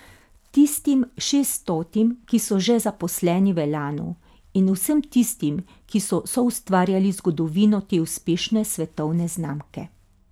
Tistim šeststotim, ki ste še zaposleni v Elanu, in vsem tistim, ki so soustvarjali zgodovino te uspešne svetovne znamke.